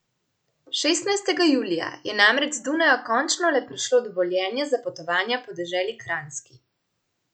Šestnajstega julija je namreč z Dunaja končno le prišlo dovoljenje za potovanja po deželi Kranjski.